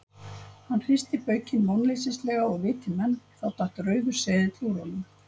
Hann hristi baukinn vonleysislega og viti menn, þá datt rauður seðill úr honum.